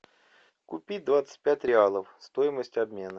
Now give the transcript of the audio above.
купить двадцать пять реалов стоимость обмена